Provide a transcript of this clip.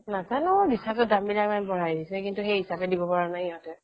নাজাননো recharge ৰ দাম বিলাক ইমান বঢ়াই দিছে কিন্তু সেই হিছাপে দিব পৰা নাই সিহতে